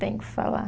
Tem que falar.